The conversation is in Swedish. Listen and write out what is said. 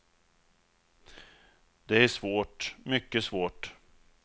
Det är svårt, mycket svårt.